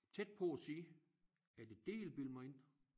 Tæt på at sige er det det I vil bilde mig ind